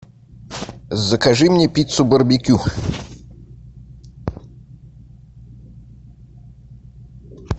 закажи мне пиццу барбекю